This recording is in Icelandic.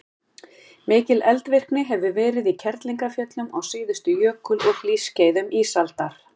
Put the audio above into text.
mikil eldvirkni hefur verið í kerlingarfjöllum á síðustu jökul og hlýskeiðum ísaldar